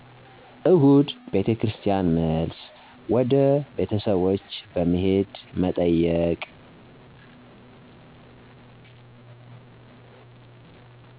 እሁድ ቤተክርስቲያን መልስ፣ ወደ ቤተሰቦች በመሄድ መጠየቅ።